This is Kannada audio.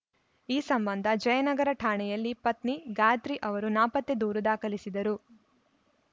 ಈ ಸಂಬಂಧ ಜಯನಗರ ಠಾಣೆಯಲ್ಲಿ ಪತ್ನಿ ಗಾತ್ರಿ ಅವರು ನಾಪತ್ತೆ ದೂರು ದಾಖಲಿಸಿದ್ದರು